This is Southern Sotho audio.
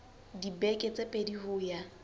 dibeke tse pedi ho ya